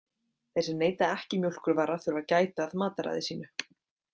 Þeir sem neyta ekki mjólkurvara þurfa að gæta að mataræði sínu.